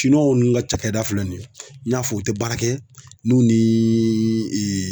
w nun ka cakɛda filɛ nin ye n y'a fɔ u te baara kɛ n'u nii